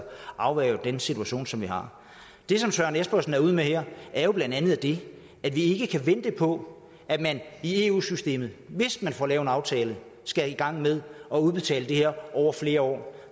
afværge den situation som vi har det som søren espersen er ude med her er jo blandt andet det at vi ikke kan vente på at man i eu systemet hvis man får lavet en aftale skal i gang med at udbetale det her over flere år